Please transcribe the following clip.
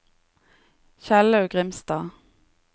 Kjellaug Grimstad